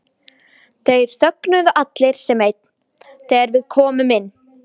Þeir þögnuðu allir sem einn þegar við komum inn.